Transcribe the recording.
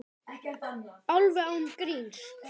Alveg án gríns.